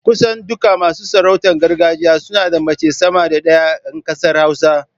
Kusan duk masu sarautar gargajiya suna da mace sama da ɗaya in ƙasar hausa.